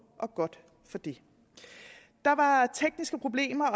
og godt for det der var tekniske problemer og